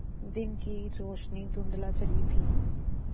दिन की रोशनी धुँधला चली थी